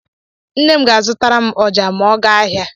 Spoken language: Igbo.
Nne m ga-azụtara m ọjà ma ọ gaa ahịa.